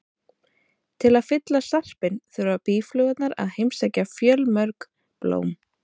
Til að fylla sarpinn þurfa býflugurnar að heimsækja fjölmörg blóm.